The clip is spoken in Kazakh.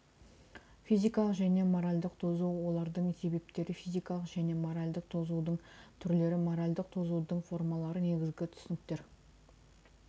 физикалық және моральдік тозу олардың себептері физикалық және моральдік тозудың түрлері моральдік тозудың формалары негізгі түсініктер